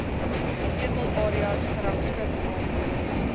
sleutelareas gerangskik naamlik